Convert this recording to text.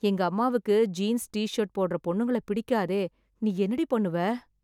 எங்க அம்மாவுக்கு jeans, t-shirt போடற பொண்ணுங்கள பிடிக்காதே... நீ என்னடி பண்ணுவ?